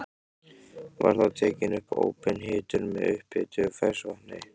Var þá tekin upp óbein hitun með upphituðu ferskvatni.